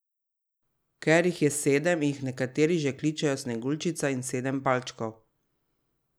Ker jih je sedem, jih nekateri že kličejo sneguljčica in sedem palčkov.